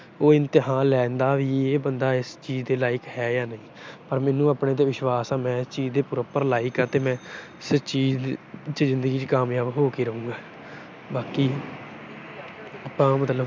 ਉਹ ਇਮਤਿਹਾਨ ਲੈਂਦਾ ਕਿ ਬੰਦਾ ਇਸ ਚੀਜ ਦੇ ਲਾਈਕ ਹੈ ਜਾਂ ਨਹੀਂ ਪਰ ਮੈਨੂੰ ਆਪਣੇ ਤੇ ਵਿਸ਼ਵਾਸ ਆ ਵੀ ਮੈਂ ਇਸ ਚੀਜ ਦੇ proper ਲਾਈਕ ਆ ਤੇ ਮੈਂ ਜਿੰਦਗੀ ਚ ਕਾਮਯਾਬ ਹੋ ਕੇ ਰਹੂੰਗਾ। ਬਾਕੀ ਆਪਾ ਆਪਾ ਮਤਲਬ